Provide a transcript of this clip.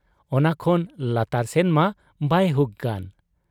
ᱚᱱᱟ ᱠᱷᱚᱱ ᱞᱟᱛᱟᱨ ᱥᱮᱱ ᱢᱟ ᱵᱟᱭ ᱦᱩᱠ ᱜᱟᱱ ᱾